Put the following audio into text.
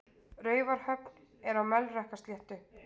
Raufarhöfn er á Melrakkasléttu.